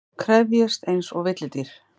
Krefjist einsog villidýr.